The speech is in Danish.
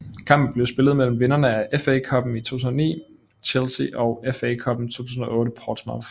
Kampen blev spillet mellem vinderne af FA Cuppen 2009 Chelsea og FA Cuppen 2008 Portsmouth